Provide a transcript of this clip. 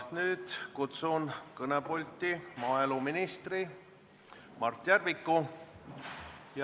Nüüd kutsun ma kõnepulti maaeluminister Mart Järviku.